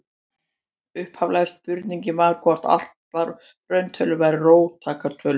Upphaflega spurningin var hvort allar rauntölur væru róttækar tölur.